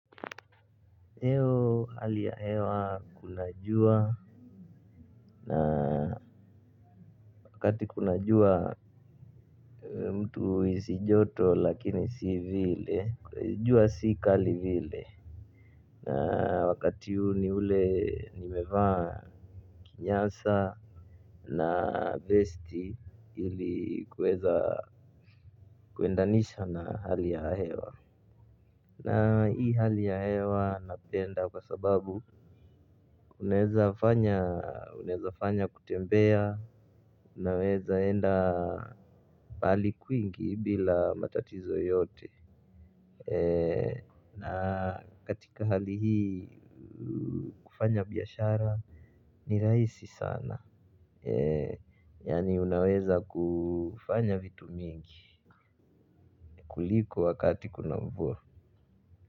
Leo hali ya hewa kuna jua na wakati kuna jua mtu uhisi joto lakini si vile. Jua si kali vile na wakati huu ni ule nimevaa kinyasa na vesti hili kuweza kuendanisha na hali ya hewa na hii hali ya hewa napenda kwa sababu unaweza fanya kutembea, unaweza enda pahali kwingi bila matatizo yoyote na katika hali hii kufanya biashara ni rahisi sana. Yaani unaweza kufanya vitu mingi kuliko wakati kuna mvua.